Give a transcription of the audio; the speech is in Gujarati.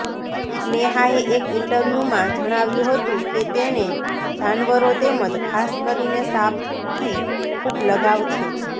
સ્નેહાએ એક ઇન્ટરવ્યુમાં જણાવ્યું હતું કે તેને જાનવરો તેમજ ખાસ કરીને સાંપથી ખૂબ લગાવ છે